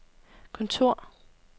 kontor